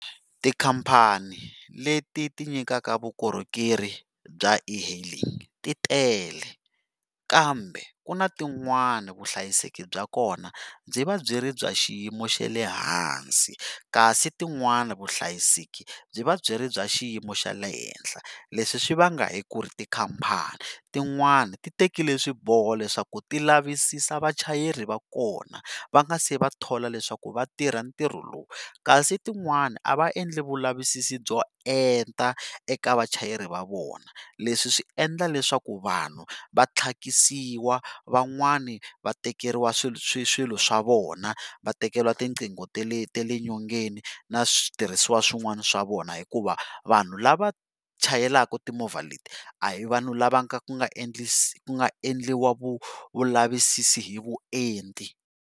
Tikhampani leti ti nyikaka vukorhokeri bya e-hailing titele kambe ku na tin'wani vuhlayiseki bya kona byi va byi ri bya xiyimo xa le hansi kasi tin'wani vuhlayiseki byi va byi ri bya xiyimo xa le henhla leswi swi vanga hikuri tikhampani tin'wana ti tekile swiboho leswaku ti lavisisa vachayeri va kona va nga si va thola leswaku va tirha ntirho lowu kasi tin'wana a va endli vulavisisi byo enta eka vachayeri va vona leswi swi endla leswaku vanhu va tlhakisiwa van'wana va tekeriwa swilo swa vona va tekeriwa tinqingho ta le ta le nyongeni na switirhisiwa swin'wana swa vona hikuva vanhu lava chayelaka timovha leti a hi vanhu lava ku nga ku nga endliwa vulavisisi hi vuenti.